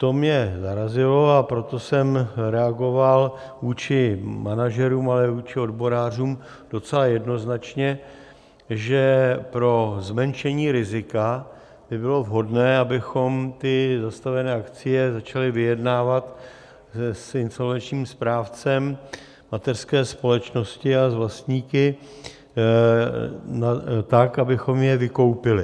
To mě zarazilo, a proto jsem reagoval vůči manažerům, ale i vůči odborářům docela jednoznačně, že pro zmenšení rizika by bylo vhodné, abychom ty zastavené akcie začali vyjednávat s insolvenčním správcem mateřské společnosti a s vlastníky tak, abychom je vykoupili.